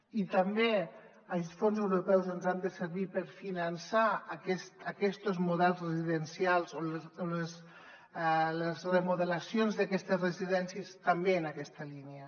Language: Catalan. i també els fons europeus ens han de servir per finançar aquestos models residencials o les remodelacions d’aquestes residències també en aquesta línia